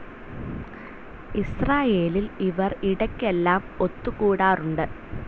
ഇസ്രായേലിൽ ഇവർ ഇടയ്ക്കെല്ലാം ഒത്തുകൂടാറുണ്ട്.